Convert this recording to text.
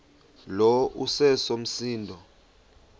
lo iseso msindo